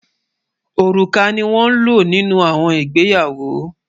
Ọrúkà ni won ló nínú àwọn ìgbéyàwó